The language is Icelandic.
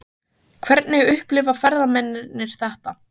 Hvernig upplifa ferðamennirnir þetta?